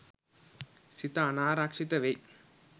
සිත අනාරක්ෂිත වෙයි.